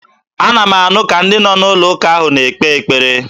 Ana m anụ ka ndị nọ n'ụlọụka ahụ na-ekpe ekpere.